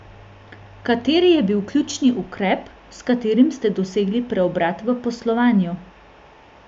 Kateri je bil ključni ukrep, s katerim ste dosegli preobrat v poslovanju?